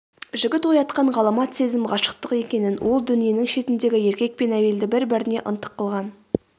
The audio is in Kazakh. жігіт оятқан ғаламат сезім ғашықтық екенін ол дүниенің шетіндегі еркек пен әйелді бір-біріне ынтық қылған